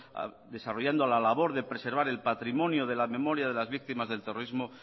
desarrollando la labor de preservar el patrimonio de la memoria de las víctimas del terrorismo